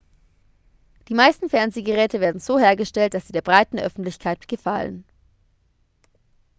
die meisten fernsehgeräte werden so hergestellt dass sie der breiten öffentlichkeit gefallen